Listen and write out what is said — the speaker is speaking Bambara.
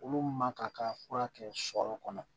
Olu man kan ka taa fura kɛ sɔ kɔnɔ